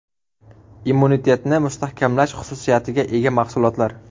Immunitetni mustahkamlash xususiyatiga ega mahsulotlar.